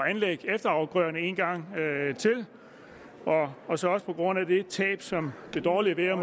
at anlægge efterafgrøderne en gang til og så også på grund af det tab som det dårlige vejr